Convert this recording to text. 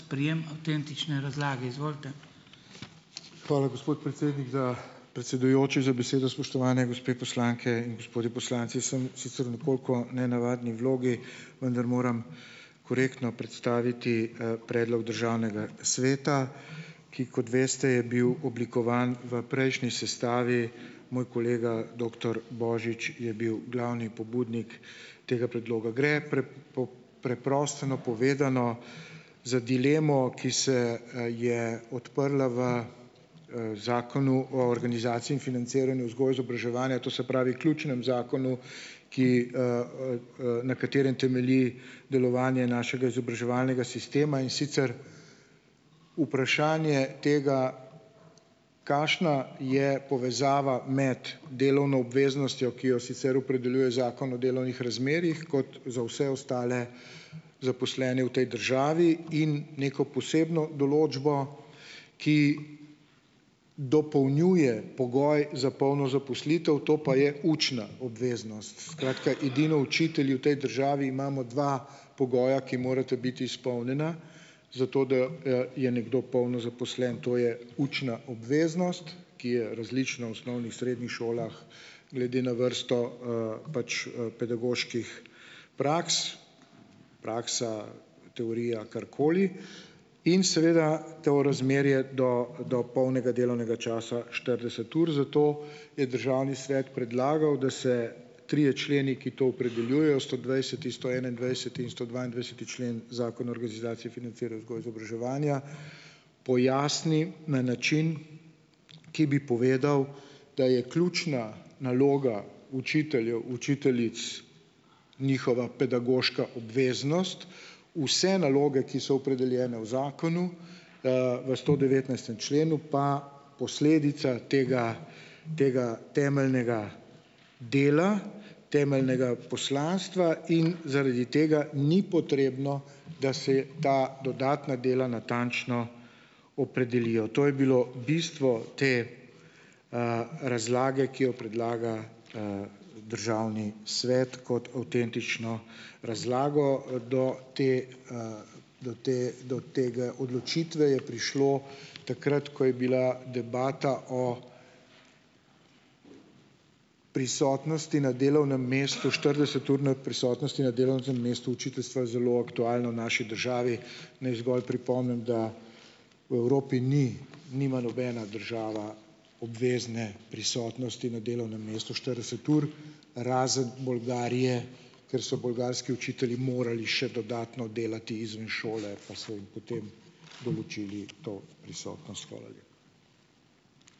Hvala, gospod predsednik, za, predsedujoči, za besedo! Spoštovane gospe poslanke in gospodje poslanci! Sem sicer v nekoliko nenavadni vlogi, vendar moram korektno predstaviti, predlog Državnega sveta, ki, kot veste, je bil oblikovan v prejšnji sestavi, moj kolega, doktor Božič je bil glavni pobudnik tega predloga. Gre, preprosto povedano, za dilemo, ki se, je odprla v, Zakonu o organizaciji in financiranju vzgoje, izobraževanja, to se pravi, ključnem zakonu, ki, na katerem temelji delovanje našega izobraževalnega sistema, in sicer vprašanje tega, kakšna je povezava med delovno obveznostjo, ki jo sicer opredeljuje Zakon o delovnih razmerjih, kot za vse ostale zaposlene v tej državi, in neko posebno določbo, ki dopolnjuje pogoj za polno zaposlitev, to pa je učna obveznost. Skratka, edino učitelji v tej državi imamo dva pogoja, ki morata biti izpolnjena, zato, da, je nekdo polno zaposlen. To je učna obveznost, ki je različna v osnovnih, srednjih šolah, glede na vrsto, pač, pedagoških praks. Praksa, teorija, karkoli. In seveda to razmerje do, do polnega delovnega časa, štirideset ur. Zato je Državni svet predlagal, da se trije členi, ki to opredeljujejo, stodvajseti, stoenaindvajseti in stodvaindvajseti člen Zakona o organizaciji, financiranju vzgoje izobraževanja, pojasni na način, ki bi povedal, da je ključna naloga učiteljev, učiteljic njihova pedagoška obveznost. Vse naloge, ki so opredeljene v zakonu, v stodevetnajstem členu, pa posledica tega tega temeljnega dela, temeljnega poslanstva in zaradi tega ni potrebno, da se ta dodatna dela natančno opredelijo. To je bilo bistvo te, razlage, ki jo predlaga, Državni svet kot avtentično razlago. Do te, to da, do tega, odločitve je prišlo takrat, ko je bila debata o prisotnosti na delovnem mestu, štirideseturne prisotnosti na delovnem, mestu učiteljstva zelo aktualna v naši državi. Naj zgolj pripomnim, da v Evropi ni nima nobena država obvezne prisotnosti na delovnem mestu štirideset ur, razen Bolgarije, ker so bolgarski učitelji morali še dodatno delati izven šole, pa so jim potem določili to prisotnost. Hvala lepa.